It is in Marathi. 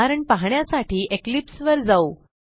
उदाहरण पाहण्यासाठी इक्लिप्स वर जाऊ